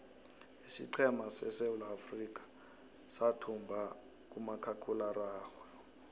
isiqhema seswulaafrikha suthumbo kumakhakhuiwa araxhwe